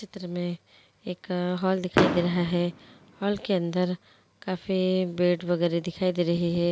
चित्र मैं एक हॉल दिखाई दे रहा हैं हॉल के अंदर काफी बीएड वगेरा दिखाई दे रहा हैं।